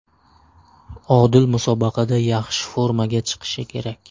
Odil musobaqada yaxshi formaga chiqishi kerak.